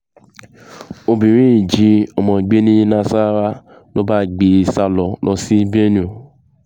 obìnrin yìí jí ọmọ gbé ní nasarawa ló bá gbé e sá lọ sí benue